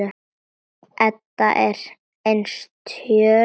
Edda er enn stjörf.